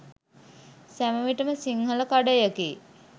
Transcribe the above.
සැම විටම සිංහල කඩයකි